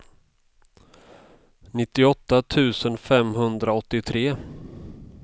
nittioåtta tusen femhundraåttiotre